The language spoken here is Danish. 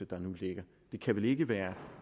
der nu ligger det kan vel ikke være